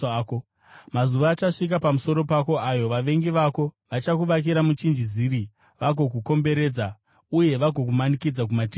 Mazuva achasvika pamusoro pako ayo vavengi vako vachakuvakira muchinjiziri vagokukomberedza uye vagokumanikidza kumativi ose.